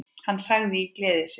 Hún sagði í gleði sinni